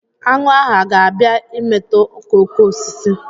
Aṅụ hà ga-abịa imetọ okooko osisi?